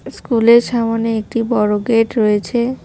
স্কুলের সামনে একটি বড় গেট রয়েছে।